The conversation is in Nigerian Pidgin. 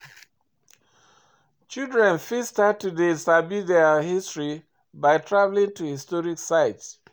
Children fit start to dey sabi their history by travelling to historic site